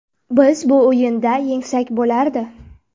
Biz bu o‘yinda yengsak bo‘lardi.